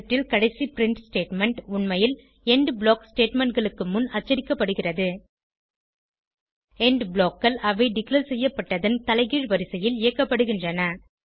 script ல் கடைசி print statement உண்மையில் எண்ட் ப்ளாக் statementகளுக்கு முன் அச்சடிக்கப்படுகிறது எண்ட் blockகள் அவை டிக்ளேர் செய்யப்பட்டதன் தலைகீழ் வரிசையில் இயக்கப்படுகின்றன